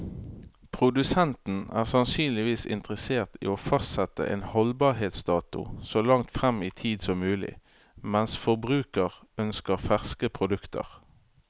Produsenten er sannsynligvis interessert i å fastsette en holdbarhetsdato så langt frem i tid som mulig, mens forbruker ønsker ferske produkter.